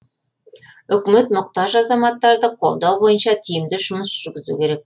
үкімет мұқтаж азаматтарды қолдау бойынша тиімді жұмыс жүргізу керек